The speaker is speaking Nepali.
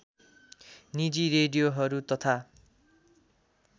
निजी रेडियोहरू तथा